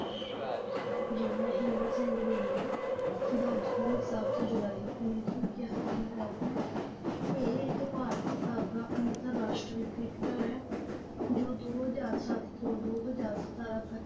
ਜੀ ਮਹਿੰਦਰ ਸਿੰਘ ਧੋਨੀ ਦਾ ਜਨਮ ਸੱਤ ਜੁਲਾਈ ਉੱਨੀ ਸੋ ਇੱਕਆਸੀ ਨੂੰ ਹੋਇਆ ਸੀ ਇਹ ਇੱਕ ਭਾਰਤੀ ਸਾਬਕਾ ਅੰਤਰਰਾਸ਼ਟਰੀ ਕ੍ਰਿਕਟਰ ਹੈ ਜੋ ਦੋ ਹਜ਼ਾਰ ਸੱਤ ਤੋਂ ਦੋ ਹਜ਼ਾਰ ਸਤਾਰਾਂ ਤੱਕ।